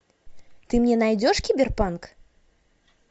ты мне найдешь киберпанк